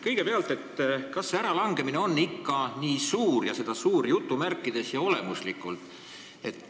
Kõigepealt, kas see äralangemine on ikka olemuslikult nii "suur"?